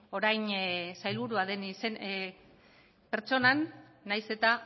orain sailburua den pertsonan nahiz eta